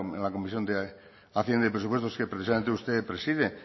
en la comisión de hacienda y presupuestos que precisamente usted preside